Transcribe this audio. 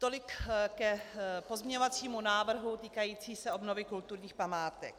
Tolik k pozměňovacímu návrhu týkajícímu se obnovy kulturních památek.